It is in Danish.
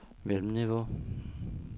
mellemniveau